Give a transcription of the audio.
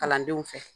Kalandenw fɛ